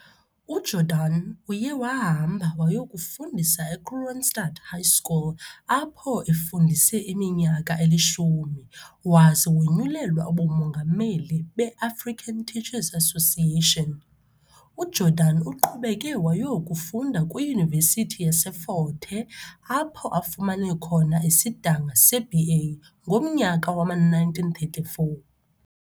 UJordan uye wahamba wayokufundisa eKroonstand High School apho efundise iminyaka eli-10 waze wonyulelwa ubuMongameli be-African Teacher's Association. UJordan uqhubeke wayokufunda kwiYunivesithi yase-Fort Hare, apho afumane khona isidanga seBA ngomnyaka wama-1934.